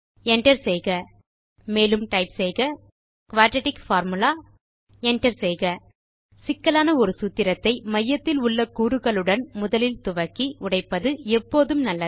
Enter செய்க மேலும் typeசெய்க குயாட்ராட்டிக் பார்முலா Enter செய்க சிக்கலான ஒரு சூத்திரத்தை மையத்தில் உள்ள கூறுகளுடன் முதலில் துவக்கி உடைப்பது எப்போதும் நல்லது